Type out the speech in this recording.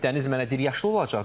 Dəniz mənə deyir yaşıl olacaq.